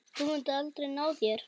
Þú munt aldrei ná þér.